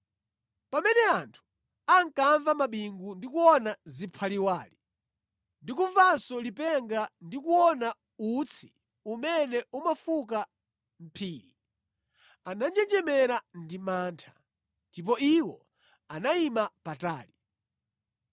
Pamene anthu ankamva mabingu ndi kuona ziphaliwali ndi kumvanso lipenga ndi kuona utsi umene umafuka mʼphiri, ananjenjemera ndi mantha. Ndipo iwo anayima patali.